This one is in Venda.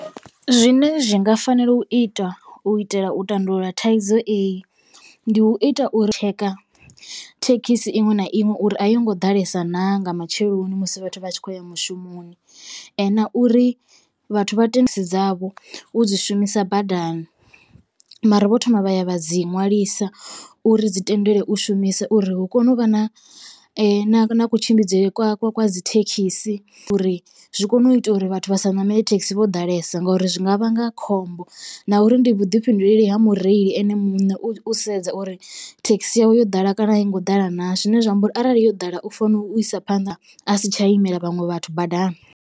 Zwine zwi nga fanela u itwa u itela u tandulula thaidzo eyi ndi u ita uri tshekha thekhisi iṅwe na iṅwe uri a yo ngo ḓalesa naa nga matsheloni musi vhathu vha tshi khou ya mushumoni. Na uri vhathu vha thenisi dzavho u dzi shumisa badani mara vho thoma vha ya vha dzi ṅwalisa uri dzi tendelwe u shumiswa uri hu kone u vha na kutshimbidzele kwa kwa dzithekhisi uri zwi kone u ita uri vhathu vha sa ṋamele thekhisi vho ḓalesa ngori zwi nga vhanga khombo. Na uri ndi vhuḓifhinduleli ha mureili ene muṋe u sedza uri thekhisi yawe yo ḓala kana a i ngo ḓala naa zwine zwa amba uri arali yo ḓala u fanela u isa phanḓa a si tsha imela vhaṅwe vhathu badani.